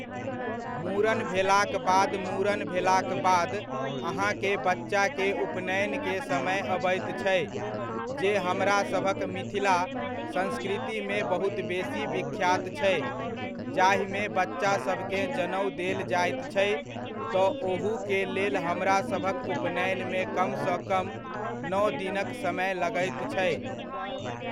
मूड़न भेलाक बाद मूड़न भेलाक बाद अहाँकेँ बच्चाके उपनयनके समय अबैत छै, जे हमरासभक मिथिला संस्कृतिमे बहुत बेसी विख्यात छै, जाहिमे बच्चासभकेँ जनेउ देल जाइत छै, तऽ ओहूके लेल हमरा सभक उपनयनमे कमसँ कम नओ दिनक समय लगैत छै।